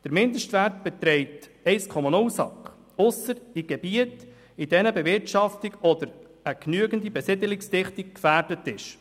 Der Mindestwert beträgt 1,0 SAK, ausser in den Gebieten, in denen Bewirtschaftung oder eine genügende Besiedelungsdichte gefährdet ist.